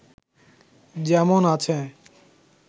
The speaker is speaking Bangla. যেমন আছে